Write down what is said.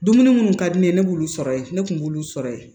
Dumuni munnu ka di ne ye ne b'olu sɔrɔ yen ne kun b'olu sɔrɔ yen